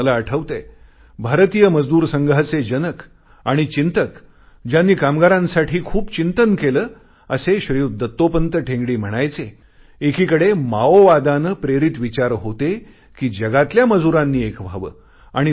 मला चांगले आठवतेय भारतीय मजदूर संघाचे जनक आणि चिंतक ज्यांनी कामगारांसाठी खूप चिंतन केले असे श्रीयुत दत्तोपंत ठेंगडी म्हणायचे एकीकडे माओवादाने प्रेरित विचार होते कि जगातल्या मजुरांनी एक व्हावे